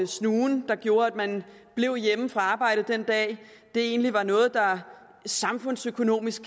snuen der gjorde at man blev hjemme fra arbejde den dag egentlig var noget der samfundsøkonomisk